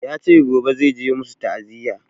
Yace gobe zai je musu ta'aziya